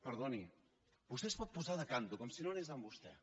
perdoni vostè es pot posar de canto com si no anés amb vostè